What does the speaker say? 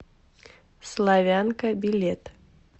славянка билет